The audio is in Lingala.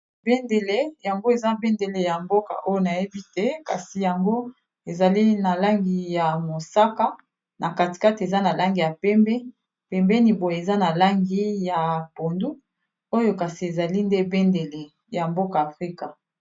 ebendele yango eza bendele ya mboka oyo nayebi te kasi yango ezali na langi ya mosaka na katikate eza na langi ya pembe pembeni boye eza na langi ya pondu oyo kasi ezali nde bendele ya mboka afrika